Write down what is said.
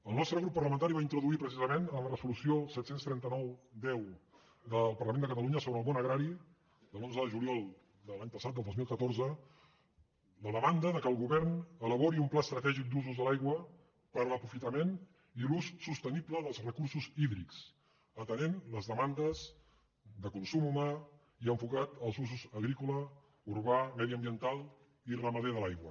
el nostre grup parlamentari va introduir precisament en la resolució set cents i trenta nou x del parlament de catalunya sobre el món agrari de l’onze de juliol de l’any passat del dos mil catorze la demanda que el govern elabori un pla estratègic d’usos de l’aigua per a l’aprofitament i l’ús sostenible dels recursos hídrics atenent les demandes de consum humà i enfocat als usos agrícola urbà mediambiental i ramader de l’aigua